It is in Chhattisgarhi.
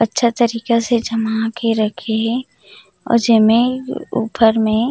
अच्छा तरीका से जमा के रखे हे अउ जे में ऊपर में--